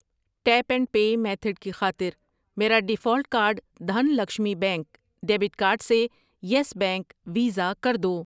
Tape and pay method کی خاطر میرا default card Dhan Lakshmi bank, debit card سے یس بینک ، ویزا کر دو۔